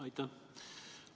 Aitäh!